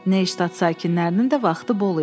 Neystad sakinlərinin də vaxtı bol idi.